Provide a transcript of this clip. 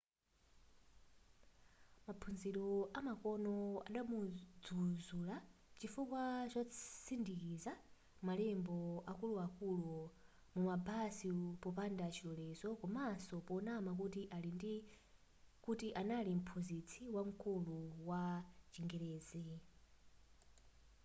maphunziro amakono adamudzuzula chifukwa chotsindikiza malembo akuluakulu mumabasi popanda chilolezo komaso ponama kuti anali mphunzitsi wamkulu wa chingerezi